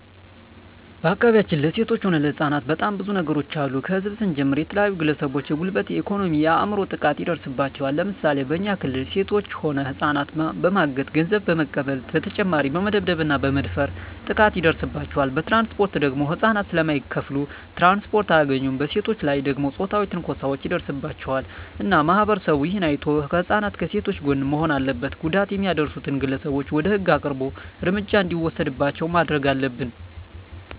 በአካባቢያችን ለሴቶች ሆነ ለህጻናት በጣም ብዙ ነገሮች አሉ ከህዝብ ስንጀምር የተለያዩ ግለሰቦች የጉልበት የኤኮኖሚ የአይምሮ ጥቃት ይደርስባቸዋል ለምሳሌ በኛ ክልል ሴቶች ሆነ ህጻናትን በማገት ገንዘብ በመቀበል በተጨማሪ በመደብደብ እና በመድፈር ጥቃት ይደርስባቸዋል በትራንስፖርት ደግሞ ህጻናት ስለማይከፋሉ ትራንስፖርት አያገኙም በሴቶች ላይ ደግሞ ጾታዊ ትንኮሳዎች ይደርስባቸዋል እና ማህበረሰቡ እሄን አይቶ ከህጻናት ከሴቶች ጎን መሆን አለበት ጉዳት የሚያደርሱት ግለሰቦች ወደ ህግ አቅርቦ እርምጃ እንዲወሰድባቸው ማረግ አለብን